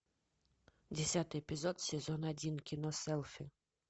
десятый эпизод сезон один кино селфи